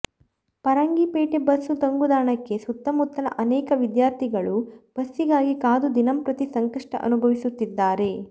Farangipete bus ತಂಗುದಾಣಕ್ಕೆ ಸುತ್ತಮುತ್ತಲ ಅನೇಕ ವಿದ್ಯಾರ್ಥಿಗಳು ಬಸ್ಸಿಗಾಗಿ ಕಾದು ದಿನಂಪ್ರತಿ ಸಂಕಷ್ಟ ಅನುಭವಿಸುತ್ತಿದ್ದಾರೆ